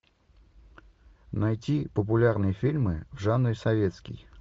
найти популярные фильмы в жанре советский